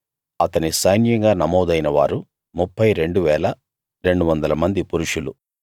అతని సైన్యంగా నమోదైన వారు 32 200 మంది పురుషులు